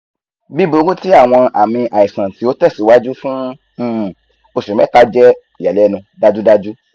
biburu ti awọn aami aisan ti o tẹsiwaju fun um oṣu mẹta jẹ iyalẹnu dajudaju